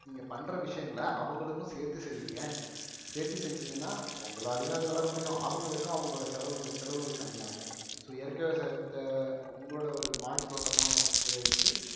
நீங்க பண்ற விஷயங்கள அவங்களுக்கும் சேர்த்து செய்யுங்க சேர்த்து செஞ்சீங்கன்னா உங்களாலையும் அது வளர முடியும் அவங்களுக்கும் அவங்களோட செலவுகள் செலவுகள் கம்மியாகும் so இயற்கை விவசாயத்தை உங்களோட ஒரு மாடித்தோட்டமா அப்படியே வச்சு